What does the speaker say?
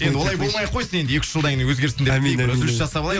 енді олай болмай ақ қойсын енді екі үш жылдан кейін өзгерсін